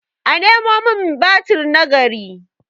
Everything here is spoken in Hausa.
a Nemo min batir na gari!